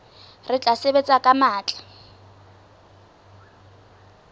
re tla sebetsa ka matla